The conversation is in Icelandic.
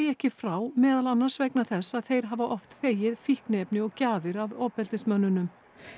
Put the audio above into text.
ekki frá meðal annars vegna þess að þeir hafa oft þegið fíkniefni og gjafir af ofbeldismönnunum